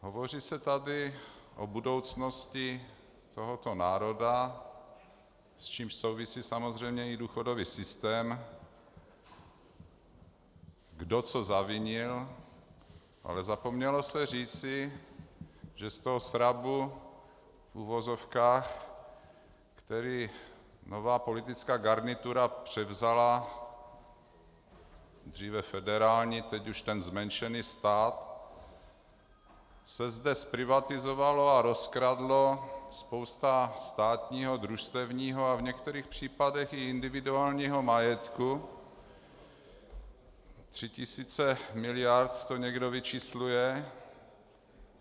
Hovoří se tady o budoucnosti tohoto národa, s čímž souvisí samozřejmě i důchodový systém, kdo co zavinil, ale zapomnělo se říci, že z toho srabu, v uvozovkách, který nová politická garnitura převzala, dříve federální, teď už ten zmenšený stát, se zde zprivatizovala a rozkradla spousta státního, družstevního, a v některých případech i individuálního majetku, tři tisíce miliard to někdo vyčísluje.